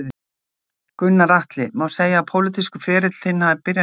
Gunnar Atli: Má segja að pólitískur ferill þinn hafi byrjað hér?